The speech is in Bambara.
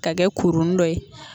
Ka kɛ kurunin dɔ ye.